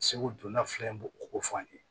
Segu donna fila in bɛ ko fɔ an ye